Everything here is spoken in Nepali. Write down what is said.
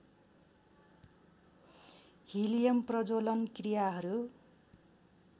हिलियम प्रज्ज्वलन क्रियाहरू